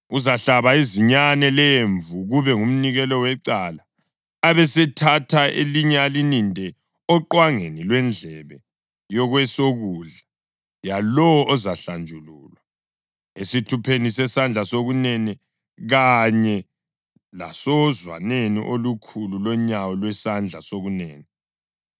Uzahlaba izinyane lemvu kube ngumnikelo wecala abesethatha elinye alininde oqwangeni lwendlebe yokwesokudla yalowo ozahlanjululwa, esithupheni sesandla sokunene kanye lasozwaneni olukhulu lonyawo lwesandla sokunene.